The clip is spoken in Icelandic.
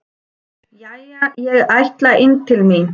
Jæja, ég ætla inn til mín.